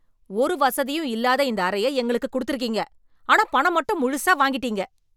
ஒரு வசதியும் இல்லாத இந்த அறைய எங்களுக்கு கொடுத்துருக்கீங்க, ஆனா பணம் மட்டும் முழுசா வாங்கிட்டிங்க.